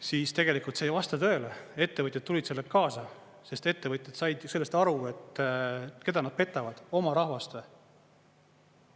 Siis tegelikult see ei vasta tõele, ettevõtjad tulid sellega kaasa, sest ettevõtjad said sellest aru, et keda nad petavad, oma rahvast või.